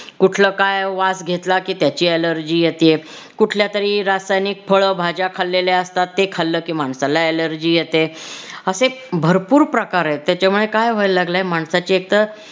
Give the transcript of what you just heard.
कुठला काय वास घेतला की त्याची allergy येतेय कुठल्या तरी रासायनिक फळ भाज्या खालेल्या असतात ते खाल्लं की माणसाला allergy येते असे भरपूर प्रकार आहेत. त्याच्यामुळे काय व्हायला लागलंय माणसाची एक तर